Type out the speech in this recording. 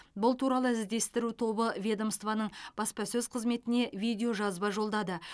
бұл туралы іздестіру тобы ведомствоның баспасөз қызметіне видеожазба жолдады